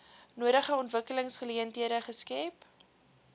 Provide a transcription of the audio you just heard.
nodige ontwikkelingsgeleenthede skep